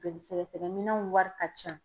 Joli sɛgɛsɛgɛ minɛnw wari ka can.